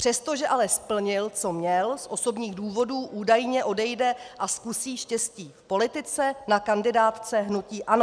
Přestože ale splnil, co měl, z osobních důvodů údajně odejde a zkusí štěstí v politice na kandidátce hnutí ANO.